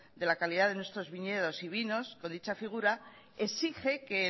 de la calidad de nuestros viñedos y vinos o dicha figura exige que